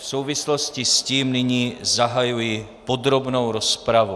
V souvislosti s tím nyní zahajuji podrobnou rozpravu.